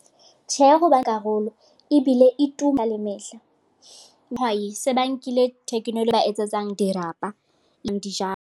Tjhe, ebile e tuma le mehla, bahwai se ba nkile technology ba etsetsang dirapa .